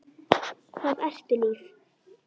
Hvað ertu líf?